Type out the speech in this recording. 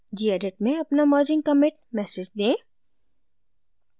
gedit में अपना merging commit message दें